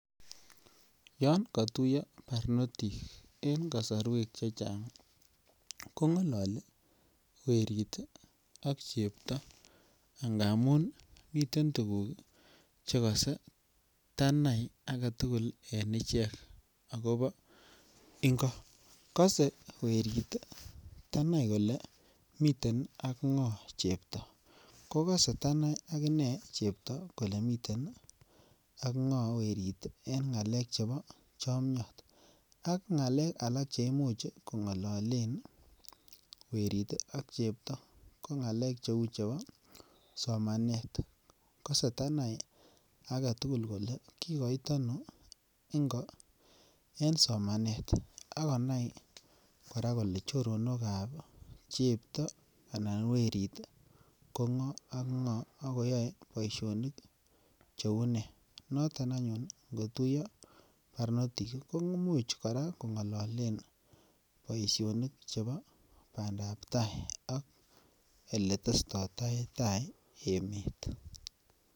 Yon katuiya barnotik en kasarwekche chang kongalali werit ak chepto ngamun ii miten tuguk che kose tanai agetugul en ichek agobo ingo. Kose werit tanai kole miten ak ngo chepto, ko kase tanai agine chepto kole miten ak ngo werit eng ngalek chebo chobo chomiot. Ak ngalek alak che imuch kongalolen werit ak chepto ko ngalek cheu chebo somanet. Kose tanai agetugul kole kikoit ano ingo en somanet ak konai kora kole choronokab chepto anan werit kongo ak ngo ak koyae boisionit cheu ne. Notok anyun ngotuiya barnotik komuchuch kora kongalalen boisionik chebo bandab tai ak oletestoitoi ta emet.